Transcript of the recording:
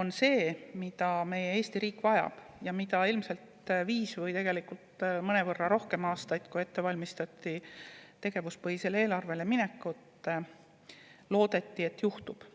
on see, mida meie Eesti riik vajab ja mida ilmselt viis aastat või tegelikult mõnevõrra rohkem aastaid, kui valmistati ette tegevuspõhisele eelarvele minekut, loodeti, et juhtub.